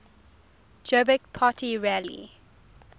jobbik party rally